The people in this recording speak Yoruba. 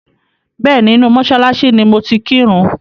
Bẹ́ẹ̀ni, inú mọ́ṣáláṣí ni mo ti kírun.